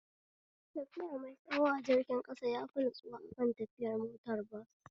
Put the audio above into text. Tafiya mai tsayo a jirgin ƙasa yafi natsuwa akan tafiya motar bas